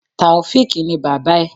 Tàòfíkì ni bàbá ẹ̀.